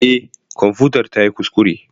Eh kwamfutar tayi kuskure.